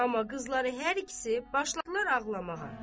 Amma qızları hər ikisi başladılar ağlamağa.